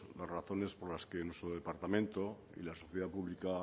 las razones por las que nuestro departamento y la sociedad pública